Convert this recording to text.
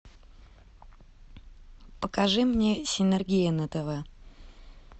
покажи мне синергия на тв